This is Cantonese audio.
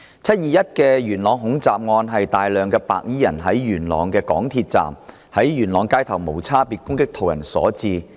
"七二一"元朗恐襲案，是大量白衣人在港鐵元朗站及元朗街頭無差別攻擊途人所致。